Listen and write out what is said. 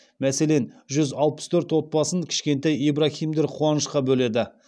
мәселен жүз алпыс төрт отбасын кішкентай ибраһимдер қуанышқа бөледі